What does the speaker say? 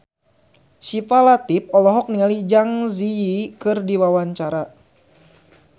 Syifa Latief olohok ningali Zang Zi Yi keur diwawancara